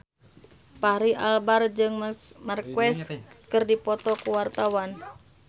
Fachri Albar jeung Marc Marquez keur dipoto ku wartawan